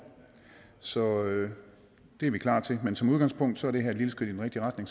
så det er vi klar til men som udgangspunkt er det her et lille skridt i den rigtige retning